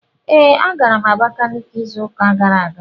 Ee, agara m Abakiliki izu ụka gara aga